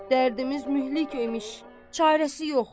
Dərdimiz mühliq imiş, çarəsi yox.